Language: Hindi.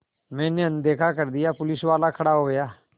मैंने अनदेखा कर दिया पुलिसवाला खड़ा हो गया